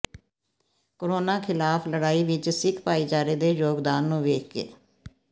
corona ਖਿਲਾਫ ਲੜਾਈ ਵਿਚ ਸਿੱਖ ਭਾਈਚਾਰੇ ਦੇ ਯੋਗਦਾਨ ਨੂੰ ਵੇਖ ਕੇ